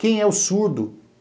Quem é o surdo?